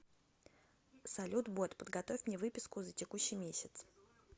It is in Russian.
салют бот подготовь мне выписку за текущий месяц